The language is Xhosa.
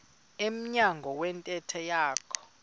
emnyango wentente yakhe